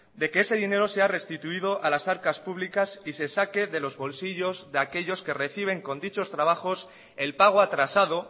de que ese dinero sea restituido a las arcas públicas y se saque de los bolsillos de aquellos que reciben con dichos trabajos el pago atrasado